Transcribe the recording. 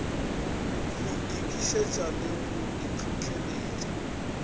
go nkišetša le go ntlhohleletša